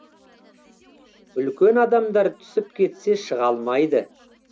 үлкен адамдар түсіп кетсе шыға алмайды